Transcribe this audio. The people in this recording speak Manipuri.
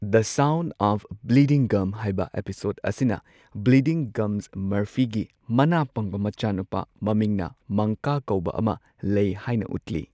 The sound of bleeding gums ꯍꯥꯢꯕ ꯑꯦꯄꯤꯁꯣꯗ ꯑꯁꯤꯅ ꯕ꯭ꯂꯤꯗꯤꯡ ꯒꯝ ꯃꯔꯐꯤꯒꯤ ꯃꯅꯥ ꯄꯪꯕ ꯃꯆꯥꯅꯨꯄꯥ ꯃꯃꯤꯡꯅ ꯃꯪꯀꯥ ꯀꯧꯕ ꯑꯃ ꯂꯩ ꯍꯥꯢꯅ ꯎꯠꯂꯤ꯫